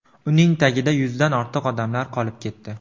Uning tagida yuzdan ortiq odamlar qolib ketdi.